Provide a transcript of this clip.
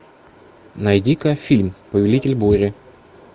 найди ка фильм повелитель бури